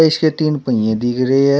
इसके तीन पहिए दिख रहे हैं।